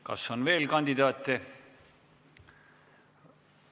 Kas on veel kandidaate?